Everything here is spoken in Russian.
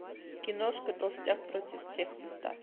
киношка толстяк против всех поставь